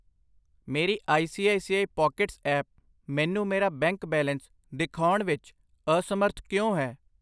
ਮੇਰੀ I C I C I pockets app ਮੈਨੂੰ ਮੇਰਾ ਬੈਂਕ ਬੈਲੇਂਸ ਦਿਖਾਉਣ ਵਿੱਚ ਅਸਮਰੱਥ ਕਿਉਂ ਹੈ?